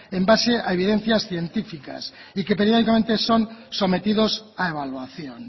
en base a evidencias científicas y que periódicamente son sometidos a evaluación